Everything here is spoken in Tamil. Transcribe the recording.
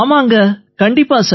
ஆமாங்க கண்டிப்பா